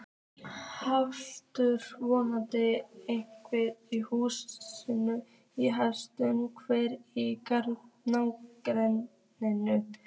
Haukur: Voru einhver hús í hættu hérna í nágrenninu?